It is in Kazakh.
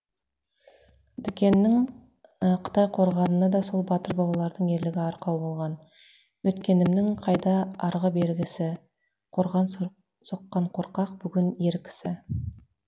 дүкеннің қытай қорғанына да сол батыр бабалардың ерлігі арқау болған өткенімнің қайда арғы бергісі қорған соққан қорқақ бүгін ер кісі